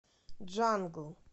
джангл